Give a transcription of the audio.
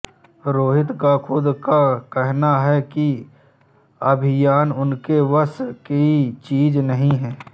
रोहित का खुद का कहना है कि अभिनय उनके वश की चीज नही है